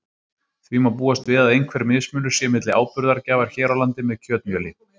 Því má búast við að einhver mismunur sé milli áburðargjafar hér á landi með kjötmjöli.